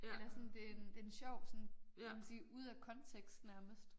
Ellers sådan det en det en sjov sådan kan man sige ude af kontekst nærmest